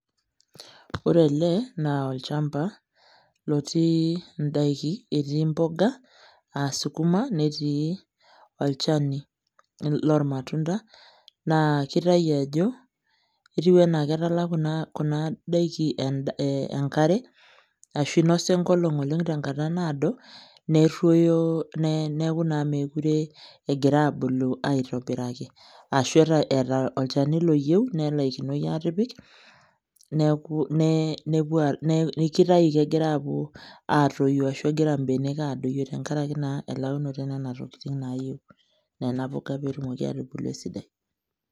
Ore ele naa olchamba lotii ndaiki, etii mboga aa sukuma, netii olchani lormatunda aa ketiu enaa ketala kuna daiki enkare ashu ketiu enaa kinosa enkolong oleng tenkata naado nerrwoyo neeku naa meekure egira abulu aitobiraki ashu eeta olchani loyiu nelaikinoi aatipik neeku egira atoyu ashu egira mbenek adoyio tenkaraki naa elaunoto e nena tokiting naayieu nena poga peetumoki aatubulu esidai